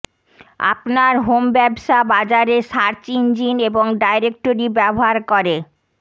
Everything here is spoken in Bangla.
আপনার হোম ব্যবসা বাজারে সার্চ ইঞ্জিন এবং ডাইরেক্টরি ব্যবহার করে